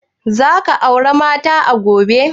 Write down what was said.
Za ka aura mata a Gombe?